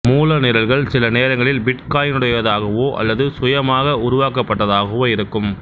மூல நிரல்கள் சில நேரங்களில் பிட்காயினுடையதாகவோ அல்லது சுயமாக உருவாக்கப்பட்டதாகவோ இருக்கும்